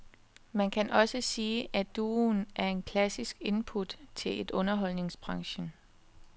Man kan også sige, at duoen er et klassisk input til underholdningsbranchen.